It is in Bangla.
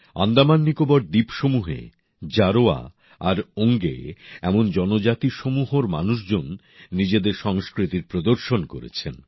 আন্দামান নিকোবর দ্বীপসমূহে জারোয়া আর ওঙ্গি এমন জনজাতিসমূহর মানুষজন নিজেদের সংস্কৃতির প্রদর্শন করেছেন